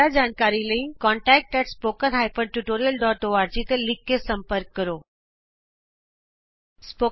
ਜਿਆਦਾ ਜਾਣਕਾਰੀ ਲਈ contact at the rate spoken hyphen tutorial dot org contact spoken tutorialਓਰਗ ਤੇ ਲਿਖ ਕੇ ਸੰਪਰਕ ਕਰੋ